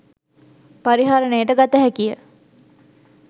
පරිහරණයට ගත හැකිය.